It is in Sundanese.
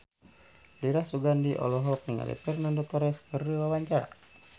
Dira Sugandi olohok ningali Fernando Torres keur diwawancara